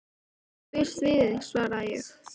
Jú, ég býst við því, svaraði ég.